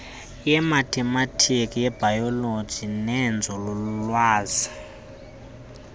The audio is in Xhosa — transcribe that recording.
yemathematika yebhayoloji neyenzululwazi